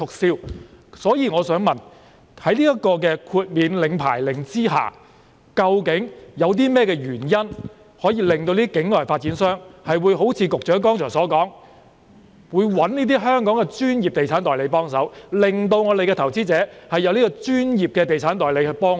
所以，我想問的是，在豁免領牌令之下，究竟有甚麼原因會令境外發展商像局長剛才所說般，聘用香港的專業地產代理幫忙，從而令本港的投資者可以得到專業地產代理的協助呢？